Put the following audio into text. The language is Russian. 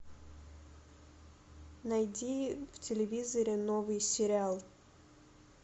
найди в телевизоре новый сериал